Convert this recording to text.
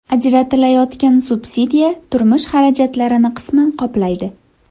Ajratilayotgan subsidiya turmush xarajatlarini qisman qoplaydi.